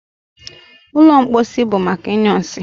ụlọ mposi bụ maka ịnyụ nsị